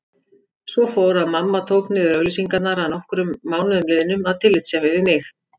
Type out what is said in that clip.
Svo fór að mamma tók niður auglýsingarnar að nokkrum mánuðum liðnum af tillitssemi við mig.